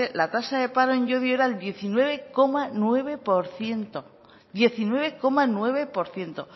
la tasa de paro en llodio era el diecinueve coma nueve por ciento diecinueve coma nueve por ciento